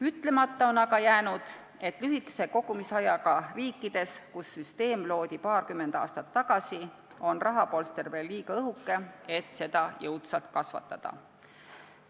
Ütlemata on aga jäänud, et lühikese kogumisajaga riikides, kus süsteem loodi paarkümmend aastat tagasi, on rahapolster veel liiga õhuke, et seda jõudsalt kasvatada.